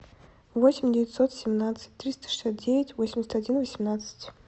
восемь девятьсот семнадцать триста шестьдесят девять восемьдесят один восемнадцать